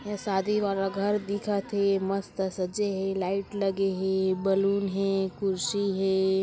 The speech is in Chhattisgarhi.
यह शादी वाला घर दिखत हे मस्त सजे हे लाइट लगे हे बैलून हे कुर्शी हे।